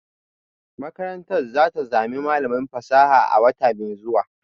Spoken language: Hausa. Makarantar za ta zama malamin fasaha a wata mai zuwa